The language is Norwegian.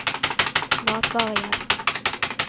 matvarehjelp